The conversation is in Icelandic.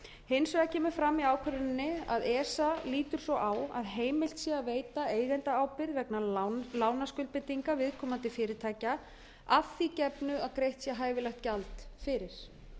hins vegar kemur fram í ákvörðuninni að esa lítur svo á að heimilt sé að veita eigendaábyrgð vegna lánaskuldbindinga viðkomandi fyrirtækja að því gefnu að greitt sé hæfilegt gjald fyrir